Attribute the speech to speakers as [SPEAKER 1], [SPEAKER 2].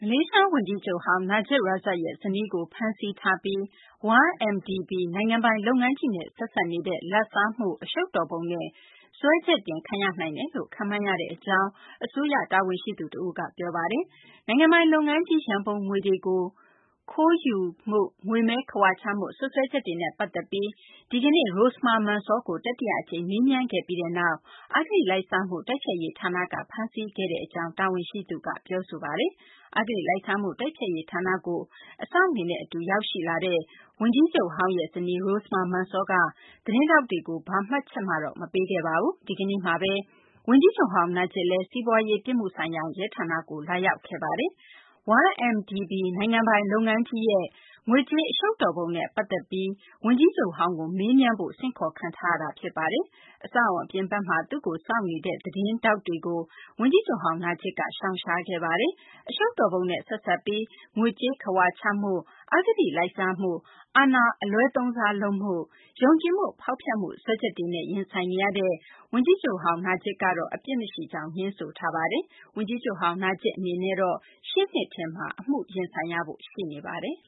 [SPEAKER 1] လေးရှား ဝန်ကြီးချုပ်ဟောင်း Najib Razak ရဲ့ ဇနီးကို ဖမ်းဆီးထားပြီး 1MDB နိုင်ငံပိုင်လုပ်ငန်းကြီးနဲ့ ဆက်စပ်နေတဲ့ လာဘ်စားမှု အရှုပ်တော်ပုံနဲ့ စွဲချက်တင်ခံရနိုင်တယ်လို့လည်း ခန့်မှန်းရကြောင်း အစိုးရ တာဝန်ရှိသူ တဦးက ပြောဆိုလိုက်ပါတယ်။ နိုင်ငံပိုင် လုပ်ငန်းကြီး ရန်ပုံငွေတွေကို ခိုးယူမှု၊ ငွေမဲခဝါချမှု စွပ်စွဲချက်တွေနဲ့ ပတ်သက်ပြီး ဒီကနေ့ Rosmah Mansor ကို တတိယ အကြိမ် မေးမြန်းခဲ့ပြီးနောက်မှာ အဂတိ လိုက်စားမှု တိုက်ဖျက်ရေး ဌာနက ဖမ်းဆီးခဲ့ကြောင်း တာဝန်ရှိသူက ပြောဆိုတာပါ။ အဂတိလိုက်စားမှု တိုက်ဖျက်ရေးဌာနကို အစောင့်တွေနဲ့ အတူ ရောက်ရှိလာတဲ့ ဝန်ကြီးချုပ်ဟောင်းရဲ့ ဇနီး Rosmah Mansor က သတင်းထောက်တွေကို ဘာမှတ်ချက်မှ မပေးခဲ့ပါဘူး။ ဒီကနေ့မှာဘဲ ဝန်ကြီးချုပ်ဟောင်း Najib လည်း စီးပွားရေး ပြစ်မှုဆိုင်ရာ ရဲဌာနကို လာရောက်ခဲ့ပါတယ်။ 1MDB နိုင်ငံပိုင် လုပ်ငန်းကြီးရဲ့ ငွေကြေး အရှုပ်တော်ပုံနဲ့ ပတ်သက်ပြီး ဝန်ကြီးချုပ်ဟောင်းကို မေးမြန်းဖို့ ဆင့်ခေါ်ခံထားရတာ ဖြစ်ပါတယ်။ အဆောက်အအုံ အပြင်ဘက်က သူ့ကို စောင့်ဆိုင်းနေကြတဲ့ သတင်းတွေကို ဝန်ကြီးချုပ်ဟောင်း နာဂျစ်က ရှောင်ရှားခဲ့ပါတယ်။ အရှုပ်တော်ပုံနဲ့ ဆက်စပ်ပြီး ငွေကြေးခဝါချမှု၊ အဂတိ လိုက်စားမှု၊ အာဏာအလွဲသုံးစား လုပ်မှု၊ ယုံကြည်မှု ဖောက်ဖျက်မှု စွဲချက်တွေနဲ့ ရင်ဆိုင်နေရတဲ့ ဝန်ကြီးချုပ်ဟောင်း Najib ကတော့ အပြစ်မရှိကြောင်း ငြင်းဆိုထားပါတယ်။ ဝန်ကြီးချုပ်ဟောင်း Najib အနေနဲ့တော့ ရှေ့နှစ်ထဲမှာ အမှုရင်ဆိုင်ရဖို့ ရှိပါတယ်